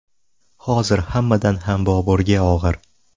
Hozir hammadan ham Boburga og‘ir.